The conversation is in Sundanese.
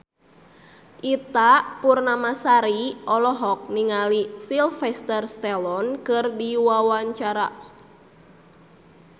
Ita Purnamasari olohok ningali Sylvester Stallone keur diwawancara